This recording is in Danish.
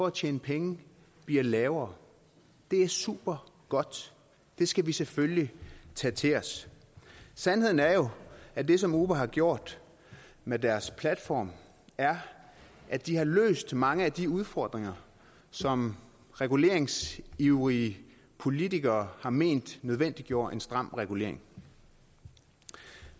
at tjene penge bliver lavere det er supergodt og det skal vi selvfølgelig tage til os sandheden er jo at det som uber har gjort med deres platform er at de har løst mange af de udfordringer som reguleringsivrige politikere har ment nødvendiggjorde en stram regulering